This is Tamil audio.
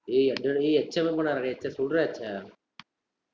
டேய், என்னடா டேய்